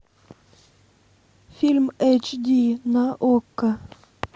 фильм эйч ди на окко